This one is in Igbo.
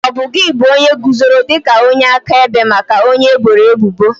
Ọbụ gi bụ onye guzoro dị ka onye akaebe maka onye eboro ebubo?